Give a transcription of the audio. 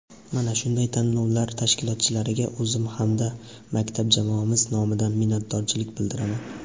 Mana shunday tanlovlar tashkilotchilariga o‘zim hamda maktab jamoamiz nomidan minnatdorchilik bildiraman.